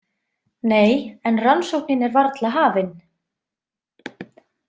Nei, en rannsóknin er varla hafin.